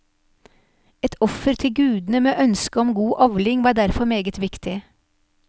Et offer til gudene med ønske om god avling var derfor meget viktig.